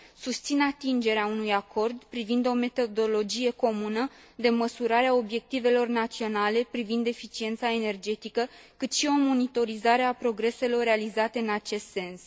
Susțin atingerea unui acord privind o metodologie comună de măsurare a obiectivelor naționale privind eficiența energetică, cât și o monitorizare a progreselor realizate în acest sens.